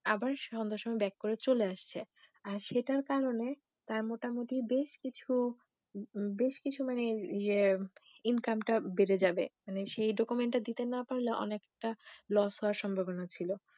আবার সন্ধ্যার সময় ব্যাক করে চলে আসছে আর সেটার কারণে মোটামোটি বেশ কিছু বেশ কিছু মানে যে ইনকাম টা বেড়ে যাবে মানে সেই ডকুমেন্ট টা দিতে না পারলে অনেক টা লস হওয়ার সম্ভাবনা ছিল